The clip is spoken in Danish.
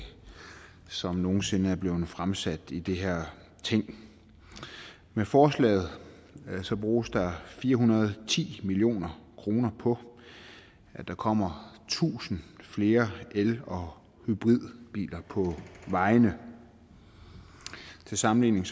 som nogen sinde er blevet fremsat i det her ting med forslaget bruges der fire hundrede og ti million kroner på at der kommer tusind flere el og hybridbiler på vejene til sammenligning